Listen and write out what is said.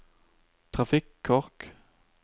trafikkork